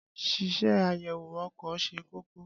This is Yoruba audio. Ṣíṣe àyèwò ọkọ̀ ṣe kókó.